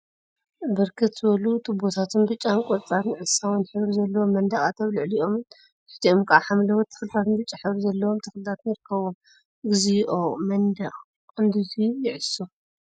ብርክት ዝበሉ ቱቦታት ብጫን ቆፃል ዕሳውን ሕብሪ ዘለዎም መንድቃት አብ ልዕሊኦምን ትሕቲኦምን ከዓ ሓምለዎት ተክሊታትን ብጫ ሕብሪ ዘለዎም ተክሊታን ይርከቡዎም፡፡ እግዚኦ መንድቅ ክንድዙይ ይዕሱ፡፡